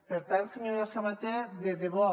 per tant senyora sabater de debò